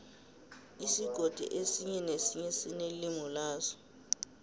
isigodi esinye nesinye sinelimi laso